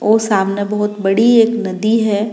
और सामने बहुत बड़ी एक नदी है।